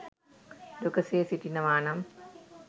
දුකසේ සිටිනවා නම්